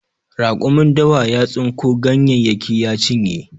Raƙumin dawa ya tsinko ganyayyaki ya cinye.